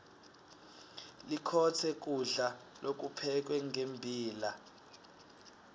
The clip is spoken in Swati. likhotse kulda lokuphekwe ngembila